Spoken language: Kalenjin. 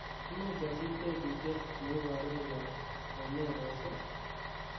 imuch asich tebutyet neiboru koyob romero's ii